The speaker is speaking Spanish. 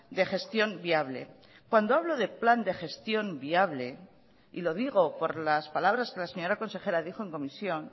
de gestión viable cuando hablo de plan de gestión viable y lo digo por las palabras que la señora consejera dijo en comisión